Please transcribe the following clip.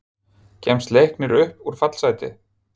Kemst Leiknir upp úr fallsæti?